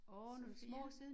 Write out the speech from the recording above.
Sofia